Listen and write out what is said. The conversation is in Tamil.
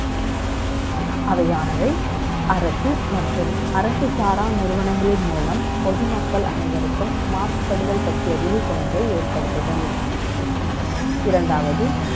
அவையானவை அரசு மற்றும் அரசு சாரா நிறுவனங்களின் மூலம் பொதுமக்கள் அனைவருக்கும் மாசுபடுதல் பற்றிய விழிப்புணர்வை ஏற்படுத்துதல் இரண்டாவது